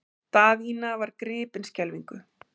Daðína var gripin skelfingu.